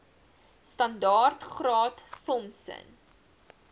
standaard graad thompson